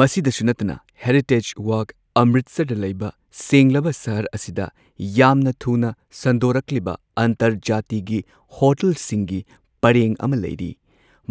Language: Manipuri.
ꯃꯁꯤꯗꯁꯨ ꯅꯠꯇꯅ ꯍꯦꯔꯤꯇꯦꯖ ꯋꯥꯛ ꯑꯃꯔꯤꯠꯁꯔꯗ ꯂꯩꯕ ꯁꯦꯡꯂꯕ ꯁꯍꯔ ꯑꯁꯤꯗ ꯌꯥꯝꯅ ꯊꯨꯅ ꯁꯟꯗꯣꯔꯛꯂꯤꯕ ꯑꯟꯇꯔꯖꯥꯇꯤꯒꯤ ꯍꯣꯇꯦꯜꯁꯤꯡꯒꯤ ꯄꯔꯦꯡ ꯑꯃ ꯂꯩꯔꯤ꯫